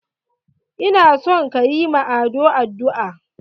Ina son kayi ma Ado addu'a!